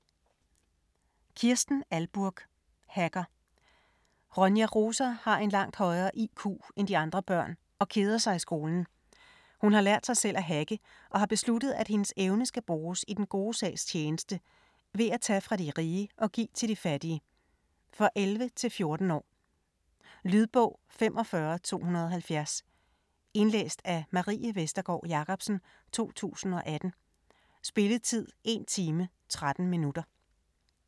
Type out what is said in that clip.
Ahlburg, Kirsten: Hacker Ronja Rosa har en langt højere IQ end de andre børn, og keder sig i skolen. Hun har lært sig selv at hacke, og har besluttet at hendes evne skal bruges i den gode sags tjeneste; ved at tage fra de rige og give til de fattige. For 11-14 år. Lydbog 45270 Indlæst af Marie Vestergård Jacobsen, 2018. Spilletid: 1 time, 13 minutter.